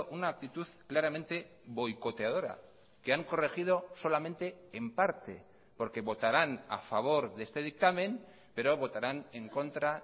una actitud claramente boicoteadora que han corregido solamente en parte porque votarán a favor de este dictamen pero votarán en contra